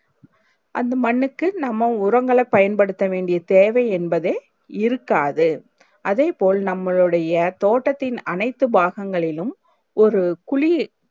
அந்த மண்ணுக்கு நம்ம உரங்களை பயன்படுத்த வேண்டியே தேவை என்பதே இருக்காது அதை போல் நம்மளோடயே தோட்டத்தின் அனைத்து பாகங்களிலும் ஒரு குழி